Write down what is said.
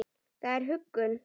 Það er huggun.